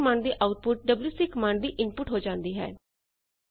LS command ਦੀ output WC command ਦੀ input ਹੋ ਜਾਂਦੀ ਹੈ